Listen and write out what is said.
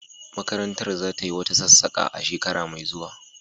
Makarantar za tayi wata sassaƙa a shekara mai zuwa.